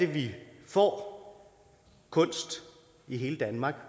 vi får kunst i hele danmark